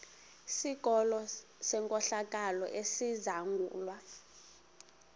sikolo senkohlakalo esizangulwa